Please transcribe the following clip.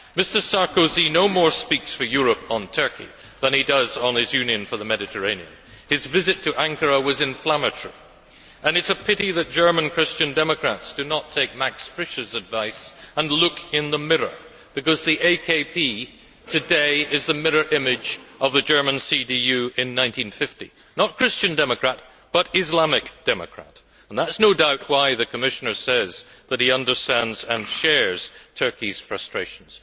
Mr Sarkozy no more speaks for Europe on Turkey than he does on his Union for the Mediterranean. His visit to Ankara was inflammatory, and it is a pity that German Christian Democrats do not take Max Fischer's advice and look in the mirror, because the AKP today is the mirror image of the German CDU in 1950 not Christian Democrat, but Islamic Democrat and that is no doubt why the Commissioner says that he understands and shares Turkey's frustrations.